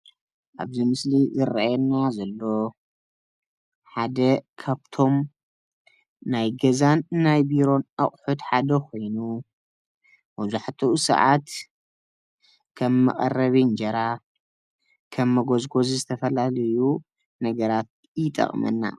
አብዚ ምስሊ ዘርእየና ዘሎ ሓደ ካብቶም ናይ ገዛን ናይ ቢሮን አቁሑት ሓደ ኮይኑ መዛሕትኡ ሰዓት ከም መቀረቢ እንጀራ፣ ከም መጎዝጎዚ ዝተፈላለዩ ነገራት ይጠቅመና።